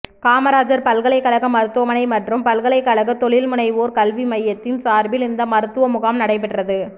காமராஜா் பல்கலைக்கழக மருத்துவமனை மற்றும் பல்கலைக்கழக தொழில்முனைவோா் கல்வி மையத்தின் சாா்பில் இந்த மருத்துவ முகாம் நடைபெற்றது